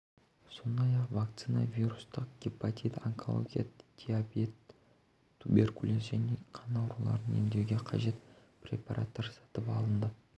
сондай-ақ вакцина вирустық гепатит онкология диабет туберкулез және қан ауруларын емдеуге қажет препараттар сатып алынады